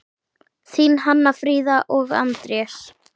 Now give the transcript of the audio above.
Þín Hanna Fríða og Anders.